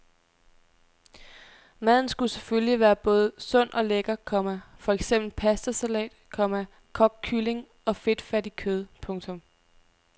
Maden skulle selvfølgelig være både sund og lækker, komma for eksempel pastasalat, komma kogt kylling og fedtfattigt kød. punktum